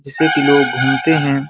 जैसे कि लोग घूमते हैं।